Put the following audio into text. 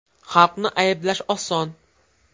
Xalqni ayblash oson.